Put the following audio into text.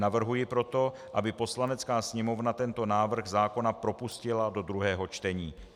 Navrhuji proto, aby Poslanecká sněmovna tento návrh zákona propustila do druhého čtení.